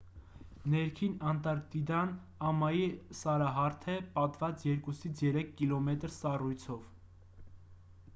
ներքին անտարկտիդան ամայի սարահարթ է պատված 2-3 կմ սառույցով